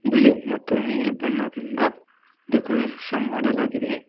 ಬಿಳಿ ಮತ್ತು ನೀಲಿ ಬಣ್ಣದಿಂದ ಡೆಕೋರೇಷನ್ ಮಾಡಲಾಗಿದೆ.